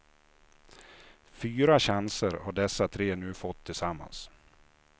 Fyra chanser har dessa tre nu fått tillsammans.